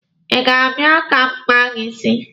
Ị ga-abịa ka m kpaa gị isi?